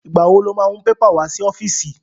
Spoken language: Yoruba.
Ìgbà wo lo má mú pépà wá sí ọ́fíìsì?